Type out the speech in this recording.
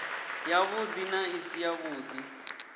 yavhuḓi na i si yavhuḓi